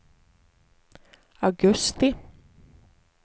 augusti